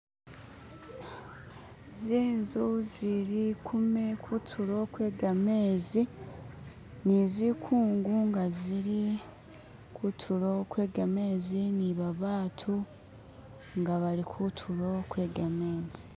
Zinzu zili kutulo kwe gamezi ni zikungu nga zili kutulo kwegamezi ni babatu inga bali kutulo kwegamezi